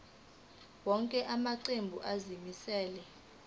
wonke amaqembu azimisela